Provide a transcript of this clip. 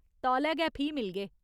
तौले गै फ्ही मिलगे !